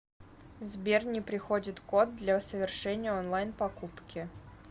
сбер не приходит код для совершения онлайн покупки